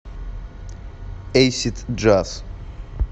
эйсид джаз